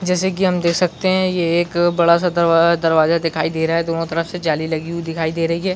जैसे कि हम देख सकते है ये एक बड़ा- सा दरवा दरवाजा दिखाई दे रहा है दोनों तरफ से जाली लगी हुई दिखाई दे रही हैं।